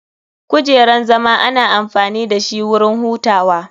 Kujeran zama ana amfani dashi wurin hutawa.